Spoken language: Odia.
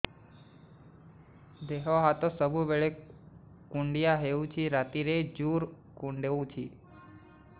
ଦେହ ହାତ ସବୁବେଳେ କୁଣ୍ଡିଆ ହଉଚି ରାତିରେ ଜୁର୍ କୁଣ୍ଡଉଚି